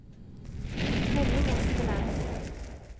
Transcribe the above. Henning Espeland